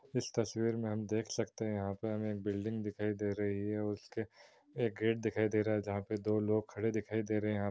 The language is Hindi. इस तस्वीर में हम देख सकते है यहां पे हमे एक बिल्डिंग दिखाई दे रही हैंऔर उसके एक गेट दिखाई दे रही है जहां दो लोग खड़े दिखाई दे रहे है।